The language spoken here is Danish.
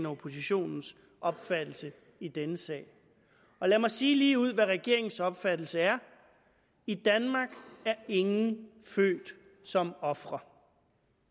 og oppositionens opfattelse i denne sag lad mig sige ligeud hvad regeringens opfattelse er i danmark er ingen født som ofre